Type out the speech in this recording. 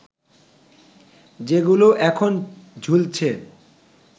যেগুলো এখন ঝুলছে